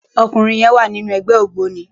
Òkúnrin yèn wá ninú ègbè ógbóni